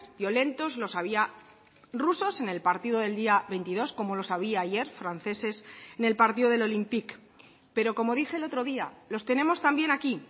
violentos los había rusos en el partido del día veintidós como los había ayer franceses en el partido del olympique pero como dije el otro día los tenemos también aquí